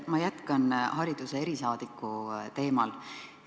Ma jätkan hariduse erisaadiku teemal.